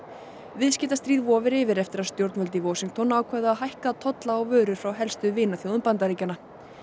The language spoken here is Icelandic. viðskiptastríð vofir yfir eftir að stjórnvöld í Washington ákváðu að hækka tolla á vörur frá helstu vinaþjóðum Bandaríkjanna